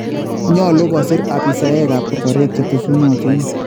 Nyolu koosir abisaaekaab korkoret chetesunotin